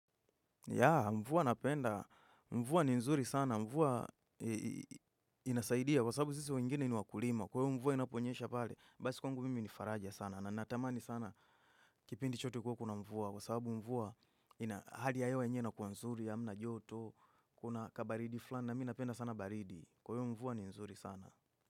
Yeah, mvua napenda. Mvuwa ni nzuri sana. Mvuwa inasaidia. Kwa sababu sisi wengine ni wakulima. Kwa hivyo mvua inaponyesha pale. Basi kwangu mimi ni faraja sana. Na natamani sana kipindi chote kuwe kuna mvua. Kwa sababu mvua ina hali ya hewa yenyewe inakuwa nzuri hamna joto. Kuna kabaridi fulani. Na mimi napenda sana baridi. Kwa hivyo mvuwa ni nzuri sana.